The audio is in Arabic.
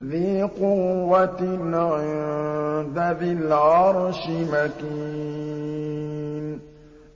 ذِي قُوَّةٍ عِندَ ذِي الْعَرْشِ مَكِينٍ